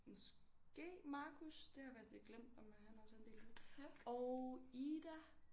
Måske Marcus det har jeg faktisk lidt glemt om han også er en del af det og Ida